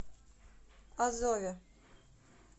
азове